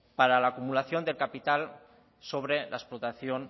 para la acumulación del capital sobre la explotación